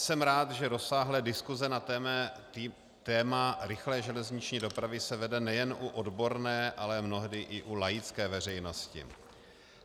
Jsem rád, že rozsáhlé diskuse na téma rychlé železniční dopravy se vede nejen u odborné, ale mnohdy i u laické veřejnosti.